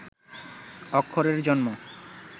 অক্ষরের জন্ম